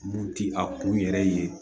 Mun ti a kun yɛrɛ ye